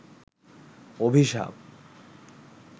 অভিশাপ